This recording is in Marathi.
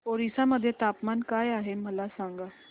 ओरिसा मध्ये तापमान काय आहे मला सांगा